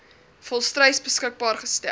volstruis beskikbaar gestel